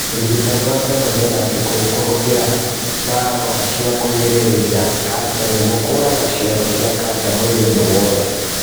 Ũrigitani wa kemotherapĩ kũhũthĩra ndawa cia kũgirĩrĩria kanja nĩguo kũraga cero cia kanja mwĩrĩ-inĩ wothe